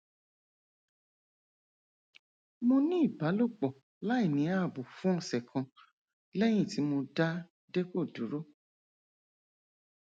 mo ní ìbálòpọ láìní ààbò fún ọsẹ kan lẹyìn tí mo dá depo dúró